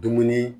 Dumuni